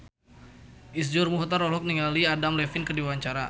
Iszur Muchtar olohok ningali Adam Levine keur diwawancara